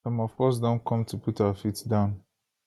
some of us don come to put our feet down